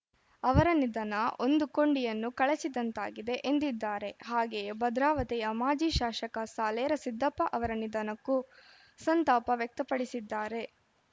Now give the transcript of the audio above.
ಅವರ ನಿಧನ ಒಂದು ಕೊಂಡಿಯನ್ನು ಕಳಚಿದಂತಾಗಿದೆ ಎಂದಿದ್ದಾರೆ ಹಾಗೆಯೇ ಭದ್ರಾವತಿಯ ಮಾಜಿ ಶಾಸಕ ಸಾಲೇರ ಸಿದ್ದಪ್ಪ ಅವರ ನಿಧನಕ್ಕೂ ಸಂತಾಪ ವ್ಯಕ್ತಪಡಿಸಿದ್ದಾರೆ